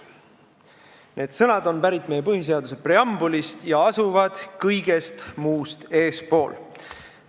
Need sõnad on pärit meie põhiseaduse preambulist ja asuvad kõigest muust eespool.